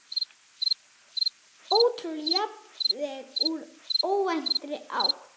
Ótrúleg játning úr óvæntri átt